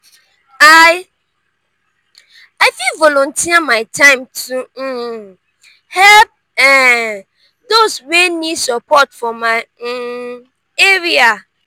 i i fit volunteer my time to um help um those wey need support for my um area.